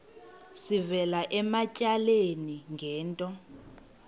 sivela ematyaleni ngento